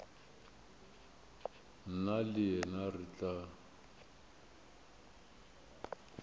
nna le yena re tla